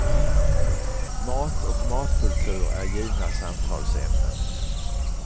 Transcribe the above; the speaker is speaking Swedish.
Mat och matkultur är givna samtalsämnen.